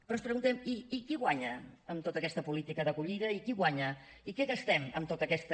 però ens preguntem i qui guanya amb tota aquesta política d’acollida i qui guanya i què gastem en tota aquesta